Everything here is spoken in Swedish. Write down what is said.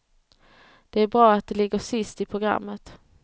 Det är bra att det ligger sist i programmet.